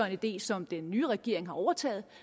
idé som den nye regering har overtaget